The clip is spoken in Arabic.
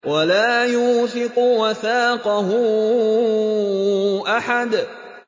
وَلَا يُوثِقُ وَثَاقَهُ أَحَدٌ